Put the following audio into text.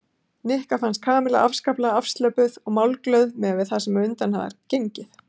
Nikka fannst Kamilla afskaplega afslöppuð og málglöð miðað við það sem á undan var gengið.